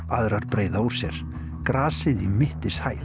aðrar breiða úr sér grasið í